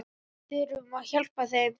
Við þurfum að hjálpa þeim.